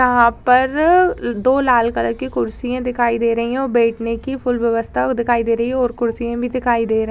यहाँ पर दो लाल कलर की कुर्सियां दिखाई दे रही हैं और बैठने की फुल व्यवस्था वो दिखाई दे रही है और कुर्सीयां भी दिखाई दे रहे --